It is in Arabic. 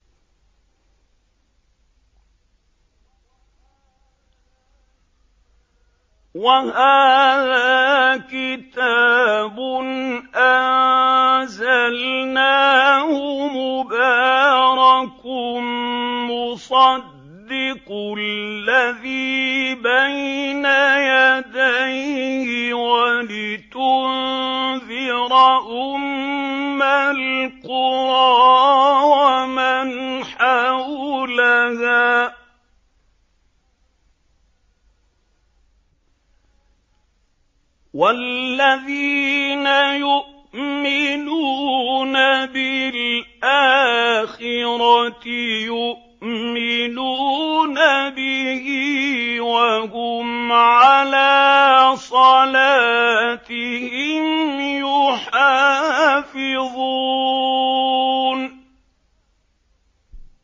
وَهَٰذَا كِتَابٌ أَنزَلْنَاهُ مُبَارَكٌ مُّصَدِّقُ الَّذِي بَيْنَ يَدَيْهِ وَلِتُنذِرَ أُمَّ الْقُرَىٰ وَمَنْ حَوْلَهَا ۚ وَالَّذِينَ يُؤْمِنُونَ بِالْآخِرَةِ يُؤْمِنُونَ بِهِ ۖ وَهُمْ عَلَىٰ صَلَاتِهِمْ يُحَافِظُونَ